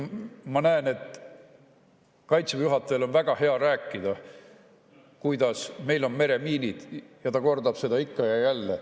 Ma näen, et Kaitseväe juhatajal on väga hea rääkida, kuidas meil on meremiinid, ta kordab seda ikka ja jälle.